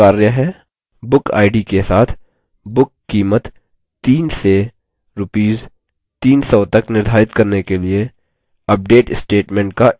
1 bookid के साथ book कीमत 3 से rs 300 तक निर्धारित करने के लिए update statement का इस्तेमाल करें